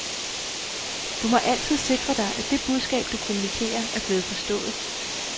Du må altid sikre dig, at det budskab, du kommunikerer, er blevet forstået.